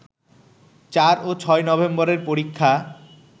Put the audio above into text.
৪ ও ৬ নভেম্বরের পরীক্ষা